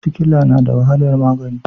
Sikila na da wahalar magani.